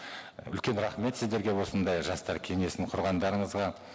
үлкен рахмет сіздерге осындай жастар кеңесін құрғандарыңызға